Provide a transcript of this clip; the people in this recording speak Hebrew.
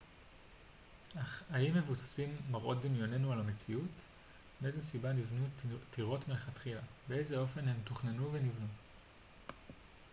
אך האם מבוססים מראות דמיוננו על המציאות מאיזו סיבה נבנו טירות מלכתחילה באיזה אופן הן תוכננו ונבנו